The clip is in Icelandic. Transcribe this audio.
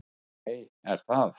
Nei, er það?